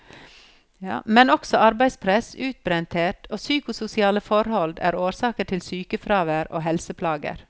Men også arbeidspress, utbrenthet og psykososiale forhold er årsaker til sykefravær og helseplager.